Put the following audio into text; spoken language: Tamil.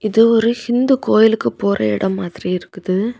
இது ஒரு இந்து கோயிலுக்கு போற இடம் மாதிரி இருக்குது.